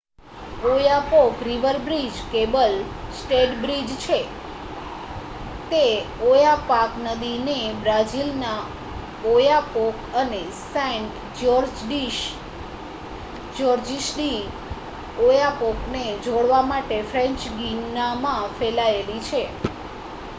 Oyapock river bridge cable stayed bridge છે તે Oyapock નદીને બ્રાઝિલના ઓયાપોક અને સેંટ જ્યોર્જિસ ડી ઓયાપોકને જોડવા માટે ફ્રેંચ ગિનામાં ફેલાયેલી છે